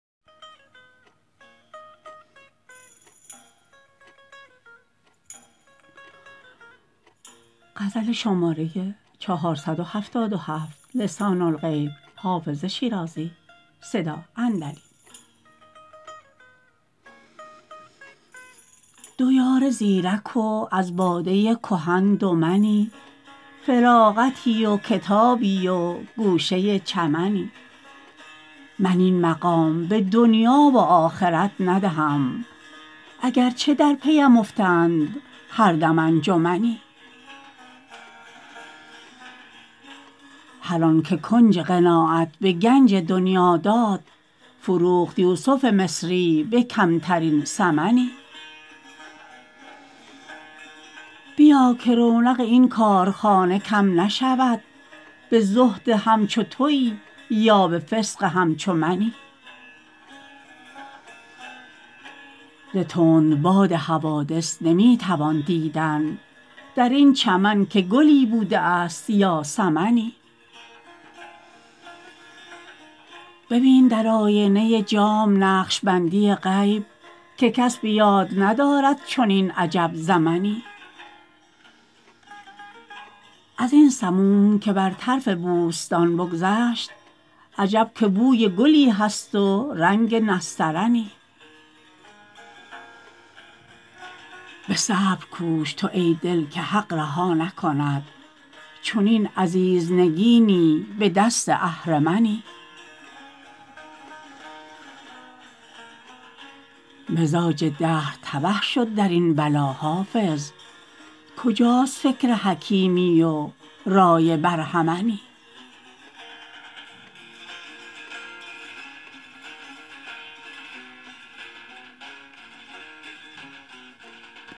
دو یار زیرک و از باده کهن دو منی فراغتی و کتابی و گوشه چمنی من این مقام به دنیا و آخرت ندهم اگر چه در پی ام افتند هر دم انجمنی هر آن که کنج قناعت به گنج دنیا داد فروخت یوسف مصری به کمترین ثمنی بیا که رونق این کارخانه کم نشود به زهد همچو تویی یا به فسق همچو منی ز تندباد حوادث نمی توان دیدن در این چمن که گلی بوده است یا سمنی ببین در آینه جام نقش بندی غیب که کس به یاد ندارد چنین عجب زمنی از این سموم که بر طرف بوستان بگذشت عجب که بوی گلی هست و رنگ نسترنی به صبر کوش تو ای دل که حق رها نکند چنین عزیز نگینی به دست اهرمنی مزاج دهر تبه شد در این بلا حافظ کجاست فکر حکیمی و رای برهمنی